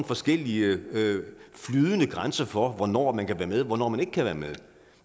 forskellige flydende grænser for hvornår man kan være med og hvornår man ikke kan være med